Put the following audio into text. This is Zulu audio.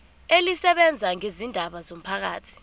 elisebenza ngezindaba zomphakathi